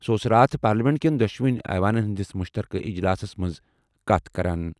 سُہ اوس راتھ پارلیمنٹ کٮ۪ن دۄشوٕنی ایوانن ہِنٛدِس مُشترکہٕ اجلاسَس منٛز کَتھ کران۔